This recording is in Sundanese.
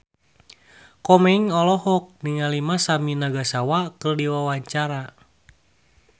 Komeng olohok ningali Masami Nagasawa keur diwawancara